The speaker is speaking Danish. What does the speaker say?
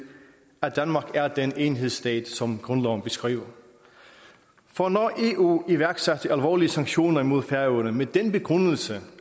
at danmark er den enhedsstat som grundloven beskriver for når eu iværksatte alvorlige sanktioner imod færøerne med den begrundelse